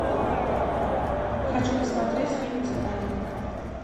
хочу посмотреть фильм титаник